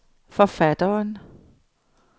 forfatteren